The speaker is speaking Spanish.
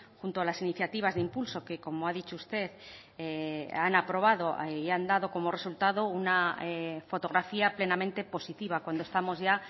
junto a las iniciativas de impulso que como ha dicho usted han aprobado y han dado como resultado una fotografía plenamente positiva cuando estamos ya